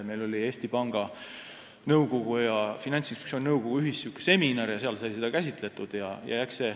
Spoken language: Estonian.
Meil oli Eesti Panga Nõukogu ja Finantsinspektsiooni nõukogu ühisseminar, kus sai seda käsitletud.